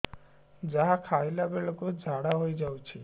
ଯାହା ଖାଇଲା ବେଳକୁ ଝାଡ଼ା ହୋଇ ଯାଉଛି